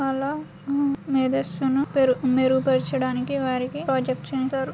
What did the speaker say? ఆలా మె-మేరె సోను పేరు మెరుగుపరచడానికి వారికీ ప్రాజెక్ట్ చేయించారు.